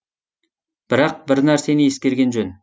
бірақ бір нәрсені ескерген жөн